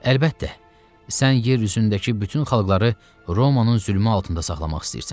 Əlbəttə, sən yer üzündəki bütün xalqları Romanın zülmü altında saxlamaq istəyirsən.